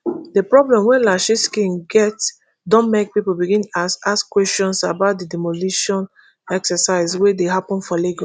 di problem wey lashiskin get don make pipo begin ask ask kweshions about di demolition exercise wey dey happun for lagos